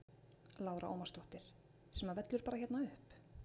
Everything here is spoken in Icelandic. Lára Ómarsdóttir: Sem að vellur bara hérna upp?